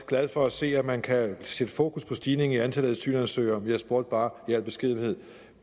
glad for at se at man kan sætte fokus på stigningen i antallet af asylansøgere jeg spurgte bare i al beskedenhed